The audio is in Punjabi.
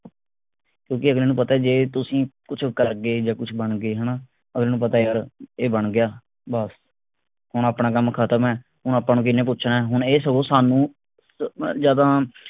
ਕਿਓਂਕਿ ਅਗਲੇ ਨੂੰ ਪਤਾ ਜੇ ਤੁਸੀਂ ਕੁਛ ਕਰਗੇ ਜਾ ਕੁਛ ਬਣਗੇ ਹਣਾ ਅਗਲੇ ਨੂੰ ਪਤਾ ਯਾਰ ਇਹ ਬਣ ਗਿਆ ਬਸ ਹੁਣ ਆਪਣਾ ਕੰਮ ਖਤਮ ਹੈ ਹੁਣ ਆਪਾਂ ਨੂੰ ਕੀਹਨੇ ਪੁੱਛਣਾ ਆ। ਹੁਣ ਇਹ ਸੋਚ ਸਾਨੂੰ ਜਾਂ ਤਾਂ